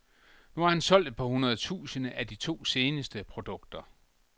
Nu har han solgt et par hundrede tusinde af de to seneste produkter.